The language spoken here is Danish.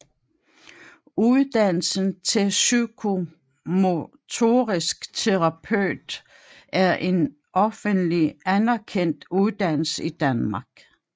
Uddannelsen til Psykomotorisk terapeut er en offentlig anerkendt uddannelse i Danmark